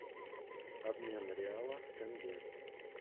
обмен реала в тенге